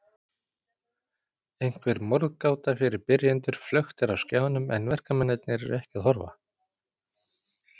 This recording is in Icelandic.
Einhver morðgáta fyrir byrjendur flöktir á skjánum en verkamennirnir eru ekki að horfa.